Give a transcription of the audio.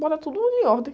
Botar todo mundo em ordem.